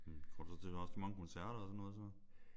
Går du så til også til mange koncerter og sådan noget så?